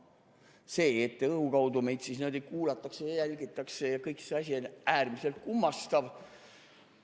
See, et õhu kaudu meid kuulatakse ja jälgitakse ja kõik see asi, on äärmiselt kummastav.